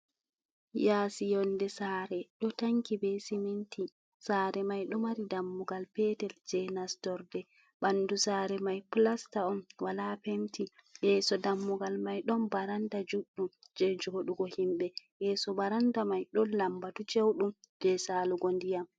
Yaasi yonde Sare ɗo tanki be siminti. Sare mai ɗo maari dammugal Petel je nastorde. Ɓandu Sare mai plasta'on wala Penti. Yeso dammugal mai ɗon baranda judɗum je joɗugo himɓe, yeso baranda mai ɗon lambatu ceuɗum je Salugo ndiyam.